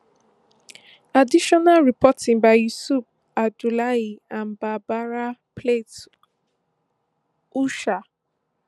additional reporting by yussuf abdullahi and barbara plett usher